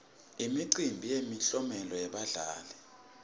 imicimbi yemiklomelo yebadlali